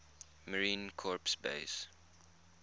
marine corps base